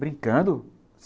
Brincando?